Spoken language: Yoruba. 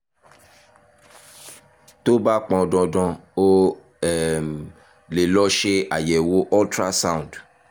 tó bá pọn dandan o um lè lọ ṣe àyẹ̀wò ultrasound